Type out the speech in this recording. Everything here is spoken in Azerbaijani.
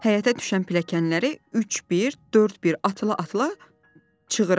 Həyətə düşən pilləkənləri üç bir, dörd bir atıla-atıla çığırardı.